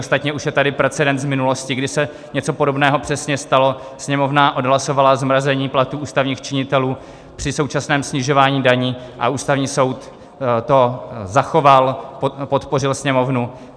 Ostatně už je tady precedens z minulosti, kdy se něco podobného přesně stalo, Sněmovna odhlasovala zmrazení platů ústavních činitelů při současném snižování daní a Ústavní soud to zachoval, podpořil Sněmovnu.